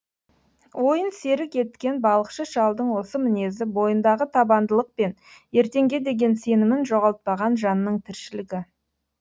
ойын серік еткен балықшы шалдың осы мінезі бойындағы табандылық пен ертеңге деген сенімін жоғалтпаған жанның тіршілігі